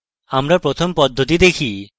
আমরা প্রথম পদ্ধতিটি দেখি